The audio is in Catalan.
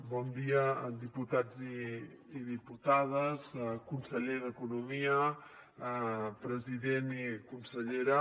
bon dia diputats i diputades conseller d’economia president i consellera